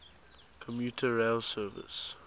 commuter rail service